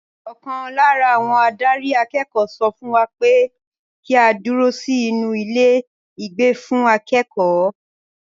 Ọkàn lára àwọn adarí akẹ́kọ̀ọ́ sọ fún wa pé kí á dúró sí inú ilé ìgbé fún akẹ́kọ̀ọ́.